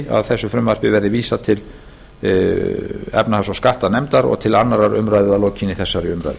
að frumvarpi þessu verði vísað til háttvirtrar efnahags og skattanefndar og til annarrar umræðu að lokinni þessari umræðu